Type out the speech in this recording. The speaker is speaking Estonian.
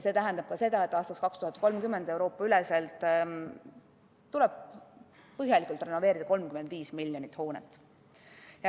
See tähendab ka seda, et aastaks 2030 tuleb Euroopas põhjalikult renoveerida 35 miljonit hoonet.